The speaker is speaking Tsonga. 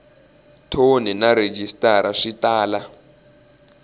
thoni na rhejisitara swi tala